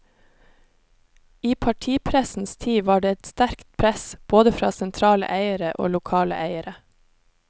I partipressens tid var det et sterkt press, både fra sentrale eiere og lokale eiere.